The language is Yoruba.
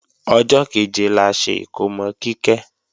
Ọjọ́ kẹ̀jẹ la ṣe ikómò Kíkẹ́